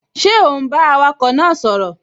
Ṣé ò ún bá awakọ̀ náà sọ̀rọ̀?